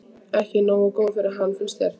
Ekki nógu góð fyrir hann, finnst þér.